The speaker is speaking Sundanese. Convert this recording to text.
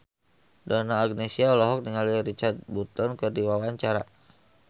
Donna Agnesia olohok ningali Richard Burton keur diwawancara